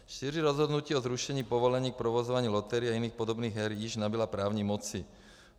Šíře rozhodnutí o zrušení povolení k provozování loterií a jiných podobných her již nabyla právní moci.